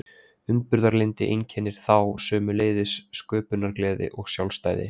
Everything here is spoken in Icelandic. Umburðarlyndi einkennir þá, sömuleiðis sköpunargleði og sjálfstæði.